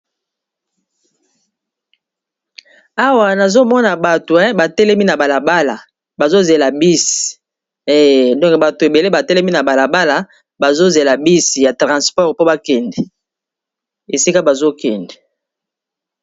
awa nazomona bato e batelemi na balabala bazozela bisi e donke bato ebele batelemi na balabala bazozela bisi ya transport po bakende esika bazokende